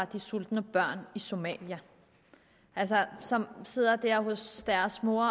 de sultne børn i somalia som sidder der hos deres mor og